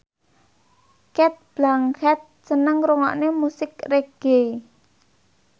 Cate Blanchett seneng ngrungokne musik reggae